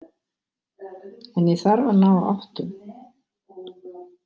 En ég þarf að ná áttum.